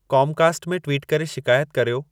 Comcast में ट्विटु करे शिकायत कर्यो